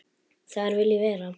Þar vil ég vera.